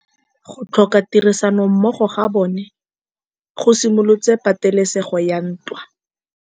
Go tlhoka tirsanommogo ga bone go simolotse patêlêsêgô ya ntwa.